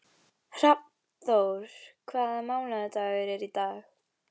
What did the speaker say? Hrafnþór, hvaða mánaðardagur er í dag?